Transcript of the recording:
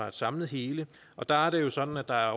et samlet hele og der er det jo sådan at der er